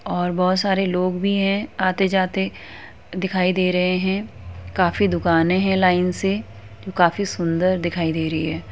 और बहुत सारे लोग भी है आते-जाते दिखाई दे रहे हैं। काफी दुकानें है लाइन से जो काफी सुंदर दिखाई दे रही है।